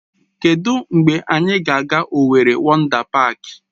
Kedụ mgbe anyị ga-aga Owerri Wọndá Páák?